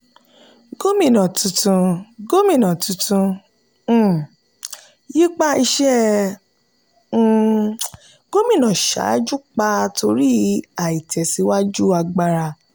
gómìnà tuntun gómìnà tuntun um yípa iṣẹ́ um gómìnà ṣáájú pa torí aìtẹ̀síwájú agbára.